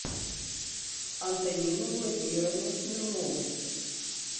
антонину владимировну смирнову